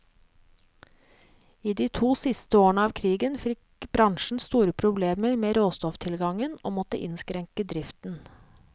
I de to siste årene av krigen fikk bransjen store problemer med råstofftilgangen, og måtte innskrenke driften.